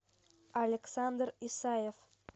александр исаев